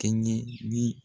Kɛɲɛ ni